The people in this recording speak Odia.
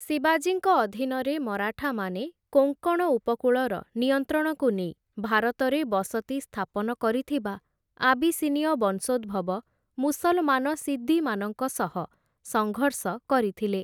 ଶିବାଜୀଙ୍କ ଅଧୀନରେ ମରାଠାମାନେ, କୋଙ୍କଣ ଉପକୂଳର ନିୟନ୍ତ୍ରଣକୁ ନେଇ, ଭାରତରେ ବସତି ସ୍ଥାପନ କରିଥିବା ଆବିସିନୀୟ ବଂଶୋଦ୍ଭବ ମୁସଲମାନ ସିଦ୍ଦିମାନଙ୍କ ସହ ସଙ୍ଘର୍ଷ କରିଥିଲେ ।